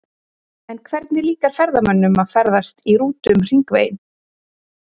En hvernig líkar ferðamönnum að ferðast í rútu um hringveginn?